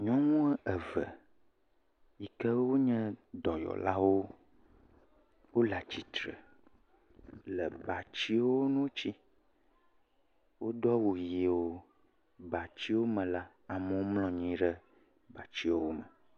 Nyɔnu eve yike wo nye dɔyɔlawo wo le atsitre le batsiwo nu tsi. Wodo awu ʋi wo. Le batsiwo me la, amewo mlɔ anyi ɖe batsiwo me.